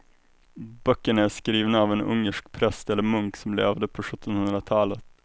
Böckerna är skrivna av en ungersk präst eller munk som levde på sjuttonhundratalet.